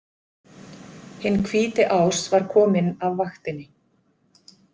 Hinn hvíti ás var kominn af vaktinni.